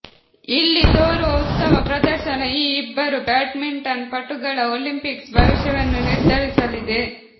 ಇಲ್ಲಿ ತೋರುವ ಉತ್ತಮ ಪ್ರದರ್ಶನ ಈ ಇಬ್ಬರು ಬ್ಯಾಡ್ಮಿಂಟನ್ ಪಟುಗಳ ಒಲಿಂಪಿಕ್ಸ್ ಭವಿಷ್ಯವನ್ನು ನಿರ್ಧರಿಸಲಿದೆ